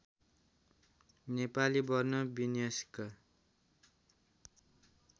नेपाली वर्ण विन्यासका